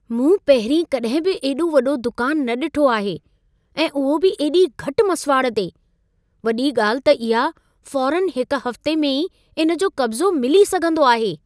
मूं पहिरीं कॾहिं बि एॾो वॾो दुकान न ॾिठो आहे ऐं उहो बि एॾी घटि मसिवाड़ ते! वॾी ॻाल्हि त इहा फ़ौरनि हिक हफ़्ते में ई इन जो कब्ज़ो मिली सघंदो आहे।